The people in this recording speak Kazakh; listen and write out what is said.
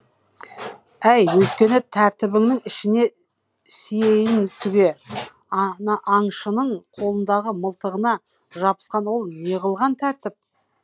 әй өйткені тәртібіңнің ішіне сиейін түге аңшының қолындағы мылтығына жабысқан ол неғылған тәртіп